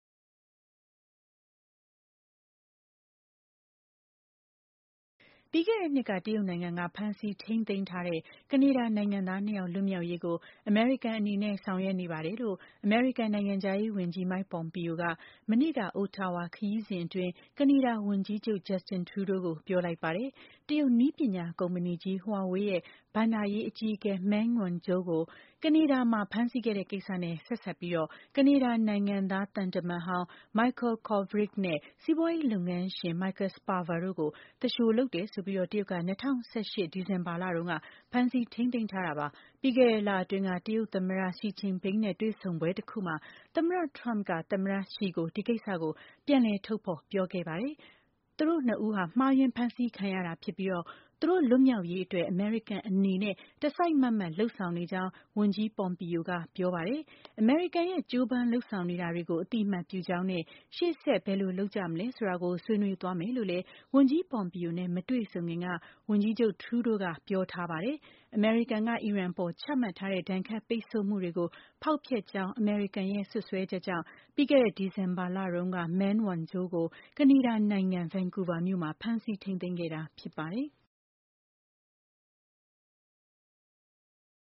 ပြီးခဲ့တဲ့ နှစ်က တရုတ်နိုင်ငံက ဖမ်းဆီးထိန်းသိမ်းထားတဲ့ ကနေဒါနိုင်ငံသား နှစ်ယောက် လွတ်မြောက်ရေးကို အမေရိကန်အနေနဲ့ ဆောင်ရွက်နေပါတယ်လို့ အမေရိကန်နိုင်ငံခြားရေး ဝန်ကြီး Mike Pompeo က မနေ့က Ottawa ခရီးစဉ်အတွင်း ကနေဒါဝန်ကြီးချုပ် Justin Trudeau ကို ပြောလိုက်ပါတယ်။ တရုတ် နည်းပညာ ကုမ္မဏီကြီး Huawei ဘဏ္ဍာရေး အကြီးအကဲ Meng Wanzhou ကို ကနေဒါမှာ ဖမ်းဆီးခဲ့တဲ့ ကိစ္စနဲ့ ဆက်စပ်ပြီး ကနေဒါနိုင်ငံသား သံတမန်ဟောင်း Michael Kovrig နဲ့ စီးပွားရေး လုပ်ငန်းရှင် Michael Spavor တို့ကို သူလျှို လုပ်တယ်ဆိုပြီး တရုတ်က ၂၀၁၈ ဒီဇင်ဘာလတုန်းက ဖမ်းဆီးထိန်းသိမ်းထားတာပါ။ ပြီးခဲ့တဲ့ လအတွင်းက တရုတ်သမ္မတ Xi Jinping နဲ့ တွေ့ဆုံပွဲတခုမှာ သမ္မတ Trump က သမ္မတ Xi ကို ဒီကိစ္စကို ပြန်လည် ထုတ်ဖော်ပြောခဲ့ပါတယ်။ သူတိုကနှစ်ဦးဟာ မှားယွင်းဖမ်းဆီးခံရတာ ဖြစ်ပြီး သူတို့ လွတ်မြောက်ရေး အတွက်အမေရိကန်အနေနဲ့ တစိုက်မတ်မတ် လုပ်ဆောင်နေကြောင်း ဝန်ကြီး Pompeo ကပြောပါတယ်။ အမေရိကန်ရဲ့ ကြိုးပမ်းလုပ်ဆောင်နေတာတွေကို အသိအမှတ်ပြုကြောင်းနဲ့ ရှေ့ဆက် ဘယ်လိုလုပ်ကြ မလဲဆိုတာကို ဆွေးနွေးသွားမယ်လို့ လည်း ဝန်ကြီး Pompeo နဲ့ မတွေဆုံခင်က ဝန်ကြီးချုပ် Trudeau က ပြောထားတာပါ။ အမေရိကန်က အီရန်အပေါ် ချမှတ်ထားတဲ့ ဒဏ်ခတ်ပိတ်ဆို့မှုတွေကို ဖောက်ဖျက်ကြောင်း အမေရိကန်ရဲ့ စွပ်စွဲချက်ကြောင့် ပြီးခဲ့တဲ့ ဒီဇင်ဘာလတုန်းက Meng Wanzhou ကို ကနေဒါနိုင်ငံ Vancouver မြို့မှာ ဖမ်းဆီးထိန်းသိမ်းခဲ့တာဖြစ်ပါတယ်။